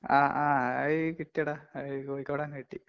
ആ ആ അത് കിട്ടിയെടാ. കോഴിക്കോട് തന്നെ കിട്ടി.